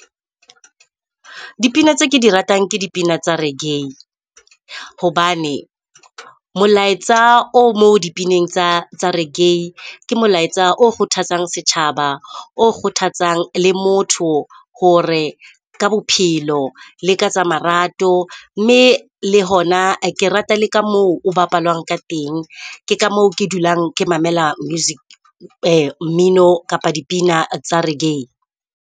Dipina tse ke di ratang ke dipina tsa reggae hobane molaetsa o mo dipineng tsa tsa reggae ke molaetsa o kgothatsang setjhaba. O kgothatsang le motho hore ka bophelo le ka tsa marato. Mme le hona ke rata le ka moo o bapalwang ka teng. Ke ka moo ke dulang ke mamelang mmino kapa dipina tsa reggae.